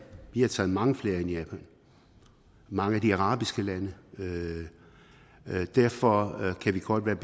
vi har taget mange flere end japan og mange af de arabiske lande derfor kan vi godt være